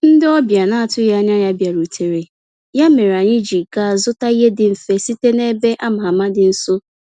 Ndị ọbịa na-atụghị anya ya bịarutere, ya mere anyị ji gaa zụta ihe dị mfe site na ebe a ma ama dị nso.